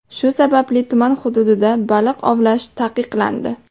Shu sababli tuman hududida baliq ovlash taqiqlandi.